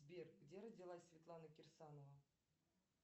сбер где родилась светлана кирсанова